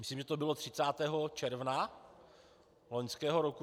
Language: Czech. Myslím, že to bylo 30. června loňského roku.